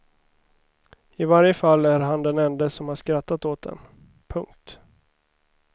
I varje fall är han den ende som har skrattat åt den. punkt